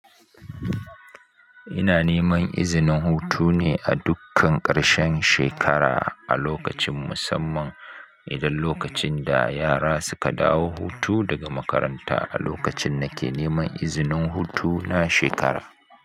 Ina neman izinin hutu ne a dukkan ƙarshen shekara a lokacin musamman idan lokacin da yara suka dawo hutu daga makaranta a lokacin nake neman izinin hutu na shekara.